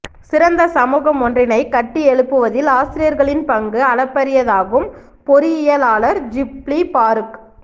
சிறந்த சமூகம் ஒன்றினை கட்டியெழுப்புவதில் ஆசிரியர்களின் பங்கு அளப்பரியதாகும் பொறியியலாளர் ஷிப்லி பாறூக்